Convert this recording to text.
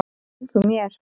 Seg þú mér.